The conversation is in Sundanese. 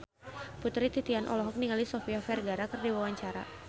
Putri Titian olohok ningali Sofia Vergara keur diwawancara